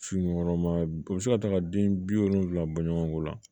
Sunkuruma u bi se ka taa ka den bi wolonwula bɔ ɲɔgɔn kɔ la